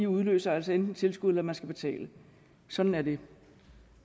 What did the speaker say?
udløser altså enten tilskud eller at man skal betale sådan er det